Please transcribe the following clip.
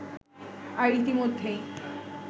আর ইতোমধ্যেই